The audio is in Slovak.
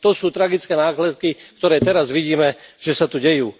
To sú tragické následky, ktoré teraz vidíme, že sa tu dejú.